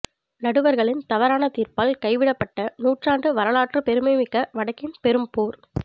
நடுவர்களின் தவறான தீர்ப்பால் கைவிடப்பட்ட நூற்றாண்டு வரலாற்றுப் பெருமைமிக்க வடக்கின் பெரும் போர்